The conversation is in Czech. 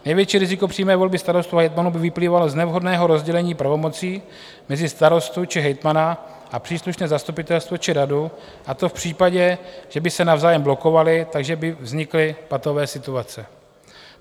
Největší riziko přímé volby starostů a hejtmanů by vyplývalo z nevhodného rozdělení pravomocí mezi starostu či hejtmana a příslušné zastupitelstvo či radu, a to v případě, že by se navzájem blokovali, takže by vznikly patové situace.